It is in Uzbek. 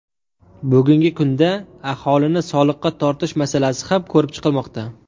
Bugungi kunda aholini soliqqa tortish masalasi ham ko‘rib chiqilmoqda.